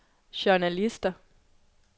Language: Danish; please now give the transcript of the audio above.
journalister